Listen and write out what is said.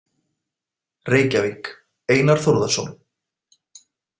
Reykjavík: Einar Þórðarson.